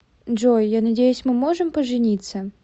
джой я надеюсь мы можем пожениться